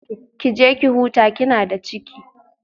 Ki je ki huta kina da ciki